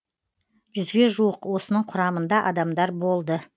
жүзге жуық осының құрамында адамдар болды